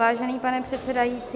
Vážený pane předsedající...